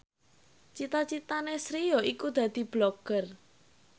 cita citane Sri yaiku dadi Blogger